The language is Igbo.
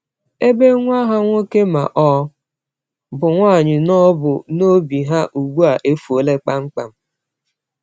Ebe nwa ha nwoke ma ọ bụ nwaanyị nọbu n’obi ha, ugbu a efuola kpamkpam.